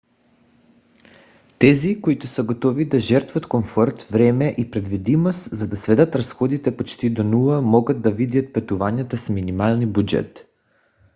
тези които са готови да жертват комфорт време и предвидимост за да сведат разходите почти до нула могат да видят пътуванията с минимален бюджет